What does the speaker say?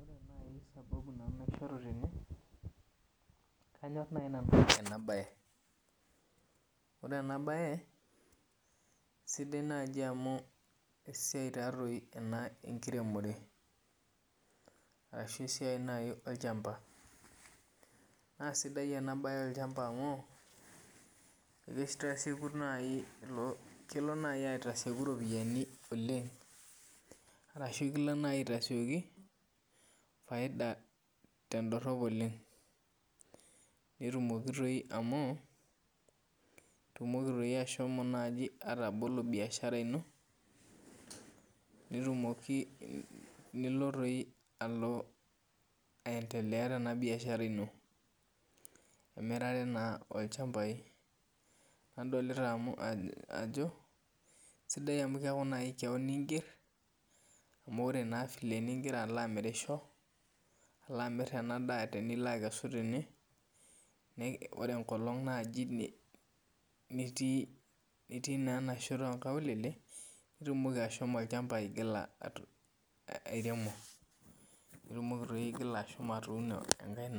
Ore naaji sababu naishoru nanu tene, kanyor naaji nanu ena bae. Ore ena bae sidai taadoi amu esiai enkiremore orashu esiai naaji olchampa. Naa sidai sii ena siai olchampa amu kelo naaji aitasieku ropiyiani oleng, ashu kilo naaji aitasieki faida tendorop oleng. Netumoki doi amu, itumoki naaji ashomo atabolo biashara ino, nilo doi aendelea tena biashara ino emirare naa olchampai. Nadolita ajo, sidai naaji amu keeku keon inger ,amu keeku naa ore filee eningira alo amirisho, alo amir ena daa tinilo aikesu tene, ore enkolong naaji nitii naa enashoto onkaulele ,nitumoki ashomo olchampa aigila airemo. Nitumoki doi ashomo airemoni enkae